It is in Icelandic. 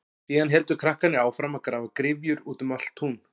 Síðan héldu krakkarnir áfram að grafa gryfjur út um allt tún.